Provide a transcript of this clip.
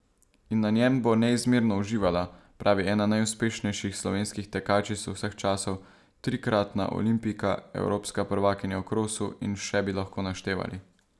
In na njem bo neizmerno uživala, pravi ena najuspešnejših slovenskih tekačic vseh časov, trikratna olimpijka, evropska prvakinja v krosu in še bi lahko naštevali.